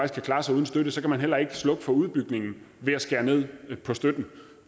kan klare sig uden støtte så kan man heller ikke slukke for udbygningen ved at skære ned på støtten